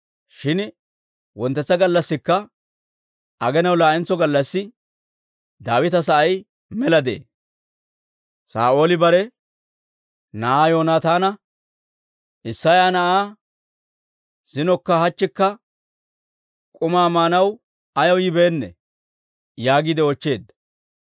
Shin wonttetsa gallassikka, aginaw laa'entso gallassi Daawita sa'ay mela de'ee. Saa'ooli bare na'aa Yoonataana, «Isseya na'ay zinokka hachchikka k'umaa maanaw ayaw yibeennee?» yaagiide oochcheedda.